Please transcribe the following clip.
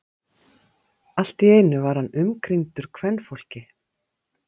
Allt í einu var hann umkringdur kvenfólki.